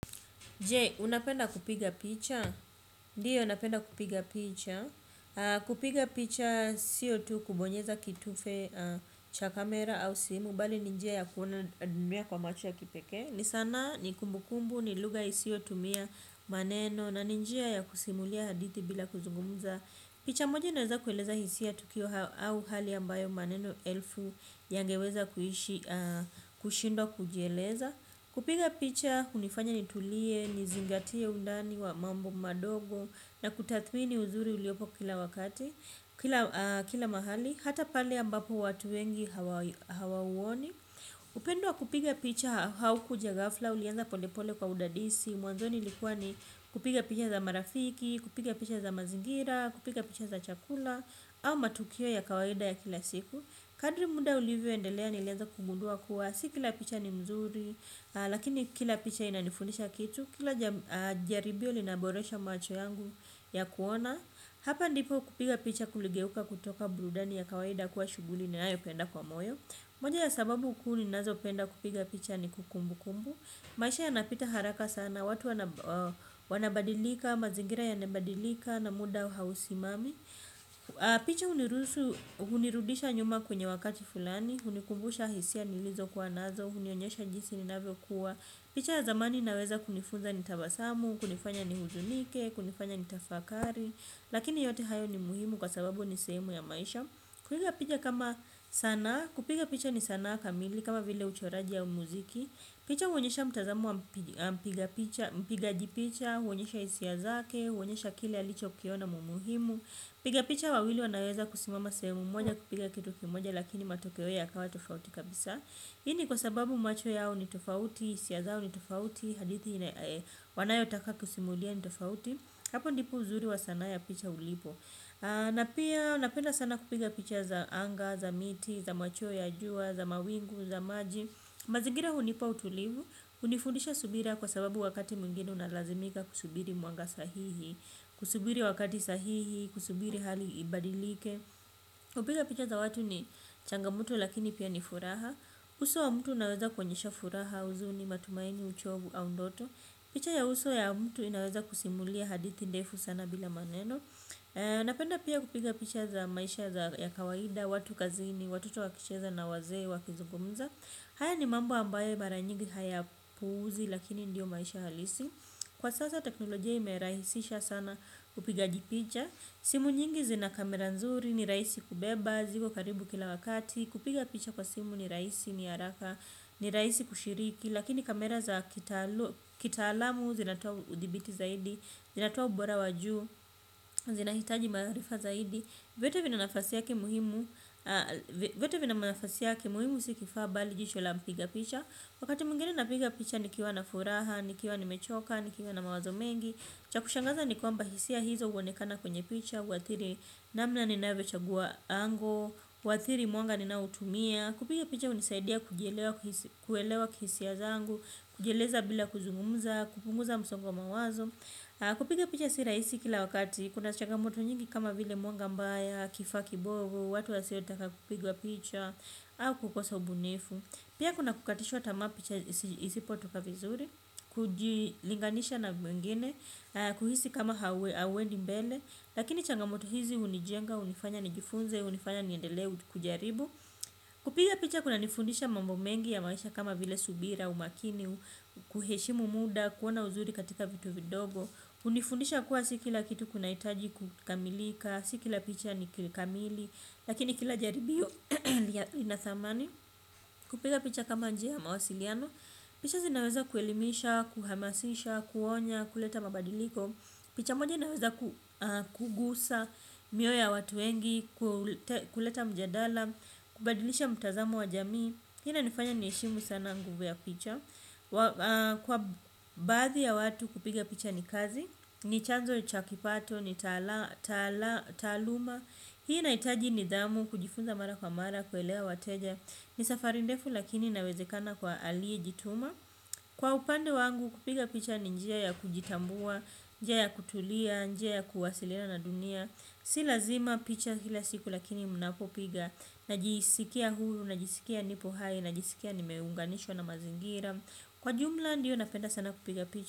Je, unapenda kupiga picha? Ndio, napenda kupiga picha. Kupiga picha, siyo tu kubonyeza kitufe cha kamera au simu, bali ni njia ya kuona dunia kwa macho ya kipekee. Ni sanaa, ni kumbukumbu, ni lugha isiyotumia maneno na ni njia ya kusimulia hadithi bila kuzungumza. Picha moja inaweza kueleza hisia, tukio au hali ambayo maneno elfu yangeweza kushindwa kujieleza. Kupiga picha hunifanya nitulie, nizingatie undani wa mambo madogo na kutathmini uzuri uliopo kila wakati, kila mahali, hata pale ambapo watu wengi hawauoni. Upendo wa kupiga picha haukuja ghafla, ulianza polepole kwa udadisi, mwanzoni ilikuwa ni kupiga picha za marafiki, kupiga picha za mazingira, kupiga picha za chakula au matukio ya kawaida ya kila siku. Kadri muda ulivyoendelea nilianza kugudua kuwa si kila picha ni mzuri lakini kila picha inanifunisha kitu, kila jaribio linaboresha macho yangu ya kuona. Hapa ndipo kupiga picha kuligeuka kutoka burudani ya kawaida kuwa shughuli ninayopenda kwa moyo. Moja ya sababu kuu ninazopenda kupiga picha ni kumbu kumbu. Maisha yanapita haraka sana, watu wanabadilika, mazingira yanabadilika na muda hausimami, picha hunirudisha nyuma kwenye wakati fulani, hunikumbusha hisia nilizo kuwa nazo, hunionyesha jinsi ninavyo kua. Picha ya zamani inaweza kunifunza ni tabasamu, kunifanya nihuzunike, kunifanya ni tafakari. Lakini yote hayo ni muhimu kwa sababu ni sehemu ya maisha, kupiga picha kama sanaa. Kupiga picha ni sana kamili kama vile uchoraji au muziki, picha huonyesha mtazamo wa mpigaji picha, huonyesha hisia zake, huonyesha kile alichokiona muhimu. Wapiga picha wawili wanaweza kusimama sehemu moja kupiga kitu kimoja lakini matokeo yakawa tofauti kabisa. Hii ni kwa sababu macho yao ni tofauti, hisia zao ni tofauti, hadithi wanayotaka kusimulia ni tofauti. Hapo ndipo uzuri wa sanaa ya picha ulipo. Napenda sana kupiga picha za anga, za miti, za machweo ya jua, za mawingu, za maji. Mazigira hunipa utulivu, hunifundisha subira kwa sababu wakati mwingine unalazimika kusubiri mwanga sahihi. Kusubiri wakati sahihi, kusubiri hali ibadilike. Kupiga picha za watu ni changamoto lakini pia ni furaha. Uso wa mtu unaweza kuonyesha furaha, uzuni, matumaini, uchovu, au ndoto. Picha ya uso ya mtu inaweza kusimulia hadithi ndefu sana bila maneno, napenda pia kupiga picha za maisha ya kawaida, watu kazini, watoto wakicheza na wazee wakizugumza. Haya ni mambo ambayo mara nyigi hayapuuzi lakini ndio maisha halisi. Kwa sasa teknolojia imerahisisha sana upigaji picha. Simu nyingi zina kamera nzuri, ni rahisi kubeba, ziko karibu kila wakati. Kupiga picha kwa simu ni rahisi, ni haraka, ni rahisi kushiriki. Lakini kamera za kitaalamu zinatoa udhibiti zaidi, zinatoa ubora wajuu, zinahitaji maarifa zaidi. Vyote vina nafasi yake muhimu. Vyote vina nafasi yake. Muhimu si kifaa bali jicho la mpiga picha. Wakati mwingine napiga picha nikiwa na furaha, nikiwa nimechoka, nikiwa na mawazo mengi. Cha kushangaza ni kwamba hisia hizo huonekana kwenye picha, huadhirii namna ninavyochagua 'angle'. Huadhiri mwanga ninaoutumia. Kupiga picha hunisaidia kuijelewa kihisia zangu, kujieleza bila kuzungumza, kupunguza msongo wa mawazo. Kupiga picha si rahisi kila wakati, kuna chagamoto nyingi kama vile mwanga mbaya, kifaa kibovu, watu wasiotaka kupigwa picha au kukosa ubunifu. Pia kuna kukatishwa tamaa picha isipotoka vizuri, kujilinganisha na mwengine, kuhisi kama hauendi mbele. Lakini changamoto hizi hunijenga, hunifanya nijifunze, hunifanya niendelee kujaribu. Kupiga picha kunanifundisha mambo mengi ya maisha kama vile subira, umakini, kuheshimu muda, kuona uzuri katika vitu vidogo. Hunifundisha kuwa si kila kitu kinahitaji kukamilika, si kila picha ni kamili, lakini kila jaribio ina thamani. Kupiga picha kama njia mawasiliano. Picha zinaweza kuelimisha, kuhamasisha, kuonya, kuleta mabadiliko, picha moja inaweza kugusa mioyo ya watu wengi, kuleta mjadala, kubadilisha mtazamo wa jamii. Hii inanifanya niheshimu sana nguvu ya picha. Kwa badhi ya watu kupiga picha ni kazi. Ni chanzo ni cha kipato, ni taaluma, hii inahitaji nidhamu, kujifunza mara kwa mara, kuelewa wateja. Ni safari ndefu lakini inawezekana kwa aliyejituma. Kwa upande wangu kupiga picha ni njia ya kujitambua, njia ya kutulia, njia ya kuwasiliana na dunia. Si lazima picha kila siku lakini ninapopiga, najisikia huru, najisikia nipo hai, najisikia nimeunganishwa na mazingira. Kwa jumla, ndio napenda sana kupiga picha.